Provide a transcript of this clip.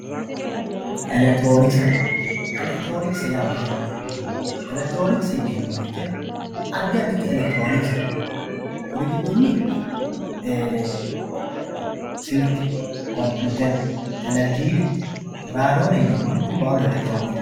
Electronkse electironkse yaa mayate electronkse yineemo woyite adi aditi elektronkse no kuri gidoni silke compuyutere televzinena raadone yinemori kuri baalu elektronksete.